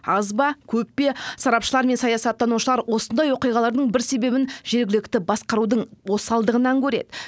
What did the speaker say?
аз ба көп пе сарапшылар мен саясаттанушылар осындай оқиғалардың бір себебін жергілікті басқарудың осалдығынан көреді